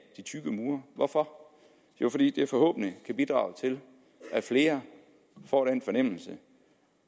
de tykke mure hvorfor jo fordi det forhåbentlig kan bidrage til at flere får den fornemmelse